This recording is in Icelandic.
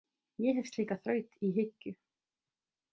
Ég hef slíka þraut í hyggju.